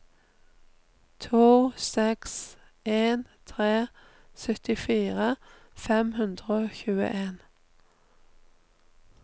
to seks en tre syttifire fem hundre og tjueen